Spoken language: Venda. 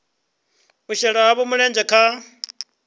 u shela havho mulenzhe kha